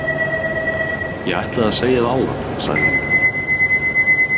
Ég ætlaði að segja það áðan, sagði hún.